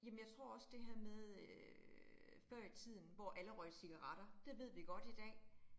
Jamen jeg tror også det her med øh før i tiden, hvor alle røg cigaretter, det ved vi godt i dag